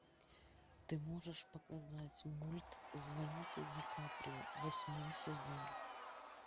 ты можешь показать мульт звоните ди каприо восьмой сезон